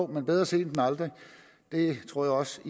bedre sent end aldrig jeg tror også